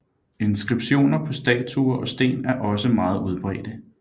Inskriptioner på statuer og sten er også meget udbredte